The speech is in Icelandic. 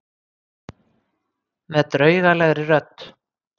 Með draugalegri rödd.